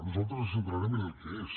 nosaltres ens centrarem en el que és